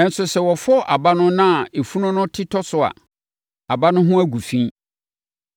nanso sɛ wɔfɔ aba no na efunu no te tɔ so a, aba no ho agu fi.